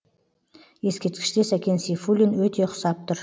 ескерткіште сәкен сейфуллин өте ұқсап тұр